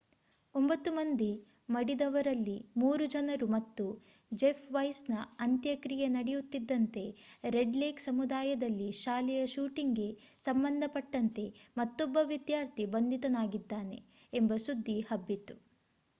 9 ಮಂದಿ ಮಡಿದವರಲ್ಲಿ 3 ಜನರು ಮತ್ತು ಜೆಫ್ ವೈಸ್ ನ ಅಂತ್ಯಕ್ರಿಯೆ ನಡೆಯುತ್ತಿದ್ದಂತೆ ರೆಡ್ ಲೇಕ್ ಸಮುದಾಯದಲ್ಲಿ ಶಾಲೆಯ ಶೂಟಿಂಗ್ ಗೆ ಸಂಬಂಧಪಟ್ಟಂತೆ ಮತ್ತೊಬ್ಬ ವಿದ್ಯಾರ್ಥಿ ಬಂಧಿತನಾಗಿದ್ದಾನೆ ಎಂಬ ಸುದ್ದಿ ಹಬ್ಬಿತು